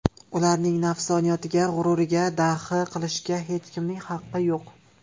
Ularning nafsoniyatiga, g‘ururiga daxl qilishga hech kimning haqqi yo‘q.